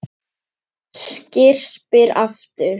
Skyrpir aftur.